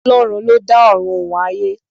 Ọlọ́run ló dá Ọ̀run òun ayé.